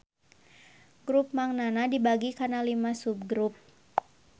Grup Mang Nana dibagi kana lima subgrup